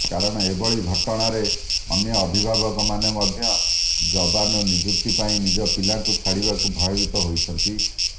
କାରଣ ଏଭଳି ଘଟଣାରେ ଅନ୍ୟ ଅଭିଭାବକମାନେ ମଧ୍ୟ ଯବାନ ନିଯୁକ୍ତି ପାଇଁ ନିଜ ପିଲାଙ୍କୁ ଛାଡିବାକୁ ଭୟବୀତ ହୋଇଛନ୍ତି